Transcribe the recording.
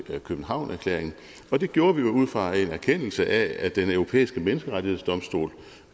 københavnererklæringen det gjorde vi jo ud fra en erkendelse af at den europæiske menneskerettighedsdomstol